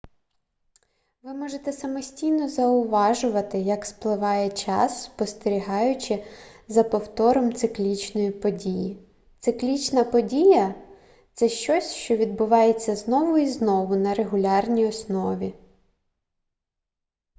ви можете самостійно зауважувати як спливає час спостерігаючи за повтором циклічної події циклічна подія це щось що відбувається знову і знову на регулярній основі